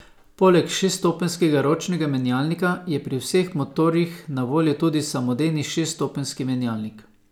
Poleg šeststopenjskega ročnega menjalnika je pri vseh motorjih na voljo tudi samodejni šeststopenjski menjalnik.